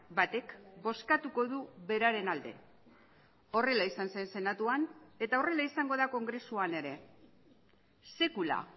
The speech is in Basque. batek bozkatuko du beraren alde horrela izan zen senatuan eta horrela izango da kongresuan ere sekula